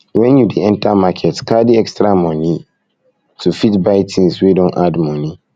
when you dey enter market carry extra money to fit buy things wey don add money